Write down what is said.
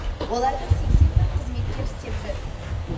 оларда сексен бір қызметкер істеп жүр